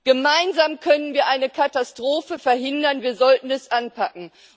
Gemeinsam können wir eine Katastrophe verhindern wir sollten es anpacken.